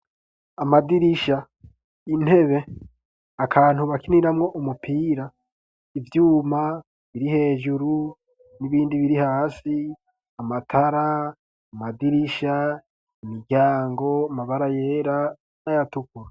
Amadirisha intebe akantu bakiniramwo umupira ivyuma biri hejuru n'ibindi biri hasi amatara amadirisha imiryango amabara yera nayatukura.